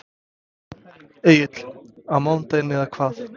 Egill: Á mánudaginn eða hvað?